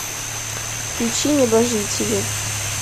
включи неба жители